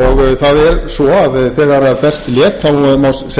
og það er svo að þegar best lét má segja að á